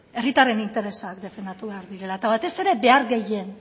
herritarren interesak defendatu behar direla eta batez ere behar gehien